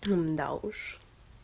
да уж